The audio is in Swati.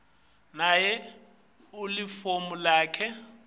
kanye nelifomu lakho